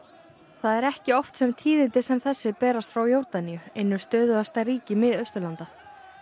það er ekki oft sem tíðindi sem þessi berast frá Jórdaníu einu stöðugasta ríki Mið Austurlanda